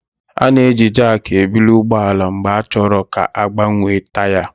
A na-eji Jaakị ebuli ụgbọ ala mgbe a chọrọ ka a gbanwee taya